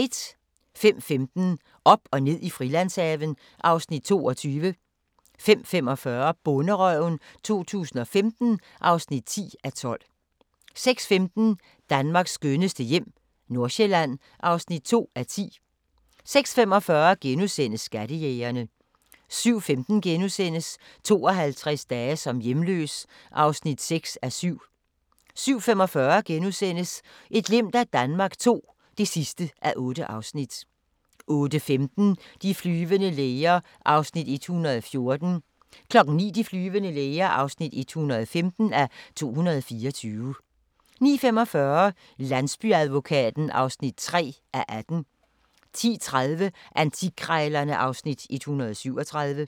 05:15: Op og ned i Frilandshaven (Afs. 22) 05:45: Bonderøven 2015 (10:12) 06:15: Danmarks skønneste hjem - Nordsjælland (2:10) 06:45: Skattejægerne * 07:15: 52 dage som hjemløs (6:7)* 07:45: Et glimt af Danmark II (8:8)* 08:15: De flyvende læger (114:224) 09:00: De flyvende læger (115:224) 09:45: Landsbyadvokaten (3:18) 10:30: Antikkrejlerne (Afs. 137)